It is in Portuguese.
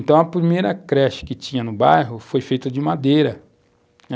Então, a primeira creche que tinha no bairro foi feita de madeira.